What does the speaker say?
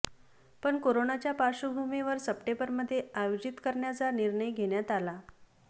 पण करोनाच्या पार्श्वभूमीवर सप्टेंबरमध्ये आयोजित करण्याचा निर्णय घेण्यात आला